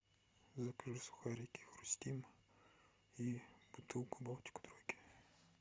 закажи сухарики хрустим и бутылку балтики тройки